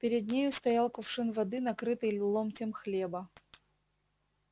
перед нею стоял кувшин воды накрытый ломтем хлеба